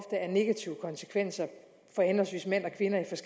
især